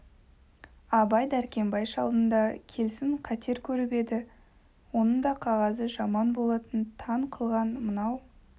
абай дәркембай шалдың да келсін қатер көріп еді оның да қағазы жаман болатын таң қылған мынау